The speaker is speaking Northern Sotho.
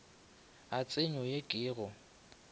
a tsenyo ye ke go